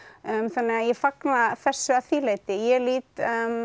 þannig ég fagna þessu að því leyti ég lít